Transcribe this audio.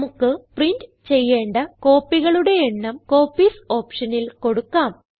നമുക്ക് പ്രിന്റ് ചെയ്യേണ്ട കോപ്പികളുടെ എണ്ണം കോപ്പീസ് ഓപ്ഷനിൽ കൊടുക്കാം